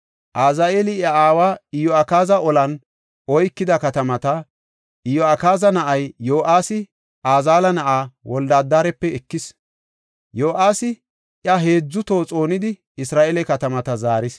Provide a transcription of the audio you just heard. Azaheeli iya aawa Iyo7akaazi olan oykida katamata, Iyo7akaaza na7ay Yo7aasi Azaheela na7aa Wolde-Adarape ekis. Yo7aasi iya heedzu toho xoonidi, Isra7eele katamata zaaris.